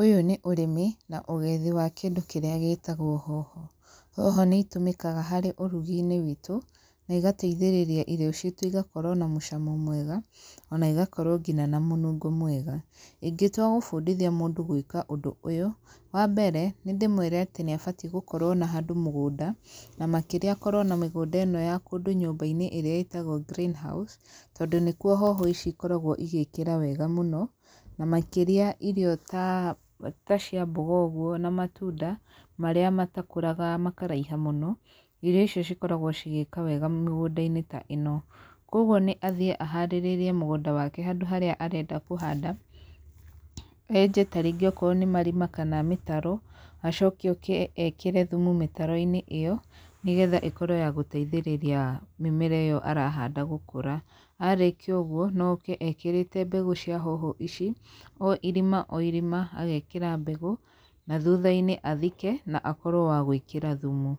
Ũyũ nĩ ũrĩmi, na ũgethi wa kĩndũ kĩrĩa gĩtagwo hoho, hoho nĩ itũmĩkaga harĩ ũrugi-inĩ witũ, na igateithĩrĩria irio citũ igakorwo na mũcamo mwega, ona igakorwo ngina na mũnungo mwega, ingĩtuwa gũbundithia mũndũ gwĩka ũndũ ũyũ, wa mbere nĩ ndĩmwere atĩ nĩ abatiĩ gũkorwo na handũ mũgũnda, na makĩria akorwo na mĩgũnda ĩno ya kũndũ nyũmba-inĩ ĩrĩa ĩtagwo green house, tondũ nĩkuo hoho ici ikoragwo igĩkĩra wega mũno, na makĩria irio ta tacia mboga ũguo, na matunda, marĩa matakũraga makaraiha mũno, irio icio cikoragwo cigĩka wega mĩgũnda-inĩ ta ĩno, koguo nĩ athiĩ aharĩrĩrie mũgũnda wake handũ harĩa arenda kũhanda, enje tarĩngĩ akoro nĩ marima kana mĩtaro, acoke oke ekĩre thumu mĩtaro-inĩ ĩyo, nĩgetha ĩkorwo ya gũteithĩrĩria mĩmera ĩyo arahanda gũkũra, arĩkia ũguo no oke ekĩrĩte mbegũ cia hoho ici, o irima, o irima, agekĩra mbegũ, na thutha-inĩ athike na akorwo wagwĩkĩra thumu,